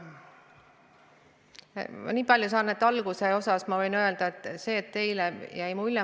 Nii palju kui ma aru sain, te ütlesite, et teile jäi teatud mulje.